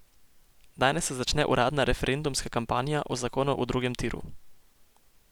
Danes se začne uradna referendumska kampanja o zakonu o drugem tiru.